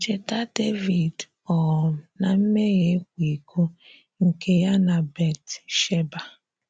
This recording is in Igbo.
Cheta Devid um na mmehie ịkwa iko nke ya na Bat - sheba.